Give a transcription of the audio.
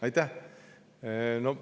Aitäh!